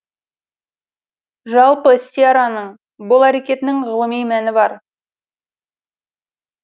жалпы сьерраның бұл әрекетінің ғылыми мәні бар